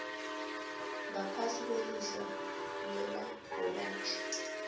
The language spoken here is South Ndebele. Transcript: ngaphasi kwelihlo lelabhorathri